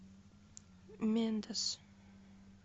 мендас